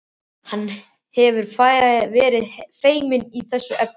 Hann hefur verið feiminn í þessum efnum.